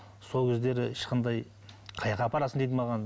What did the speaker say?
сол кездері ешқандай қаяаққа апарасың дейді маған